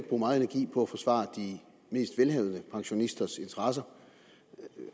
bruge meget energi på at forsvare de mest velhavende pensionisters interesser